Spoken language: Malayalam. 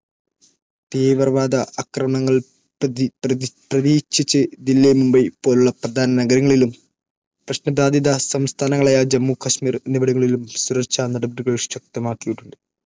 തീവ്രവാദ ആക്രമണങ്ങൾ പ്രതീക്ഷിച്ച്, ദില്ലി, മുംബൈ പോലുള്ള പ്രധാന നഗരങ്ങളിലും, പ്രശ്നബാധിത സംസ്ഥാനങ്ങളായ ജമ്മു കശ്മീർ എന്നിവിടങ്ങളിലും സുരക്ഷാ നടപടികൾ ശക്തമാക്കിയിട്ടുണ്ട്.